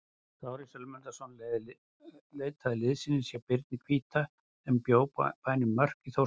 Kári Sölmundarson leitaði liðsinnis hjá Birni hvíta sem bjó á bænum Mörk í Þórsmörk.